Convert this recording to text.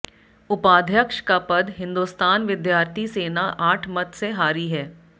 उपाध्यक्ष का पद हिंदोस्तान विद्यार्थी सेना आठ मत से हारी है